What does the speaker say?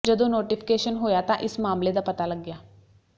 ਜਦੋਂ ਨੋਟੀਫਿਕੇਸ਼ਨ ਹੋਇਆ ਤਾਂ ਇਸ ਮਾਮਲੇ ਦਾ ਪਤਾ ਲੱਗਿਆ